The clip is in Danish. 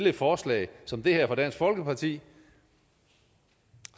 et forslag som det her fra dansk folkeparti